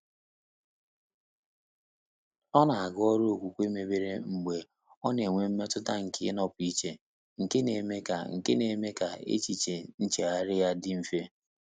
Ọ́ nà-àgá ọ́rụ́ ókwúkwé mébèrè mgbè ọ́ nà-ènwé mmétụ́tà nké ị́nọ́pụ́ íché, nké nà-émé kà nké nà-émé kà échíché nchéghárị́ yá dị́ mfé.